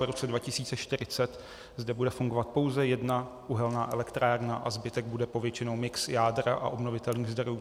Po roce 2040 zde bude fungovat pouze jedna uhelná elektrárna a zbytek bude povětšinou mix jádra a obnovitelných zdrojů.